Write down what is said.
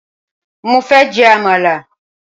Mo fẹ́ jẹ Àmàlà